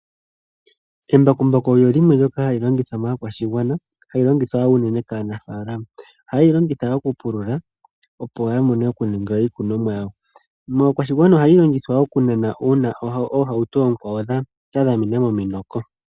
Embakumbaku olyo limwe hali longithwa moshigwana hali longithwa unene kaanafaalama. ohaye li longitha okupulula opo ya vule okukuna iikunomwa yawo. Moshigwana ohali longithwa oku nana uuna oohauto oonkwawo dha dhamena mominoko.